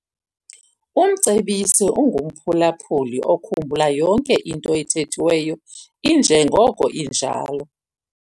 Umcebisi ungumphulaphuli okhumbula yonke into ethethiweyo injengoko injalo.